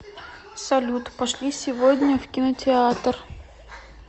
салют пошли сегодня в кинотеатр